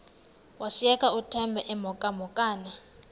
washiyeka uthemba emhokamhokana